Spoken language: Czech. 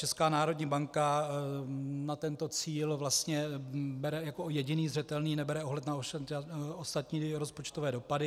Česká národní banka na tento cíl vlastně bere jako jediný zřetelný, nebere ohled na ostatní rozpočtové dopady.